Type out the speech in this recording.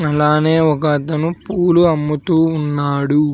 అలానే ఒక అతను పూలు అమ్ముతూ ఉన్నాడు.